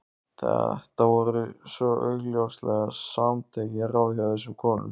Þetta voru svo augljóslega samantekin ráð hjá þessum konum.